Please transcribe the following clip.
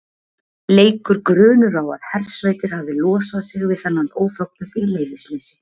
leikur grunur á að hersveitir hafi losað sig við þennan ófögnuð í leyfisleysi